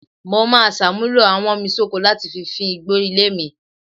Mo máa ṣàmúlò awọ́nmisóko láti fi fín igbó ilé mi